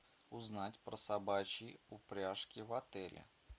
узнать про собачьи упряжки в отеле